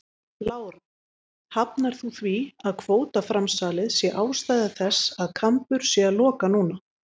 Lára: Hafnar þú því að kvótaframsalið sé ástæða þess að Kambur sé að loka núna?